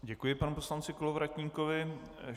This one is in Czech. Děkuji panu poslanci Kolovratníkovi.